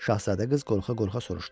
Şahzadə qız qorxa-qorxa soruşdu.